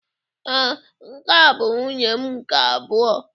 Ee, nke a bụ nwunye m nke abụọ.